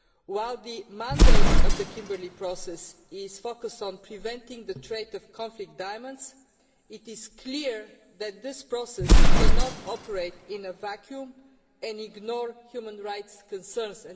While the mandate of the Kimberley Process is focused on preventing the trade of conflict diamonds, it is clear that this process cannot operate in a vacuum and ignore human rights concerns.